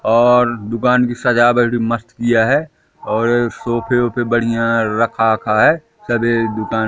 और दुकान की सजावट मस्त किया है और सोफे ओफे बढ़िया रखा अखा है सबेर दुकान--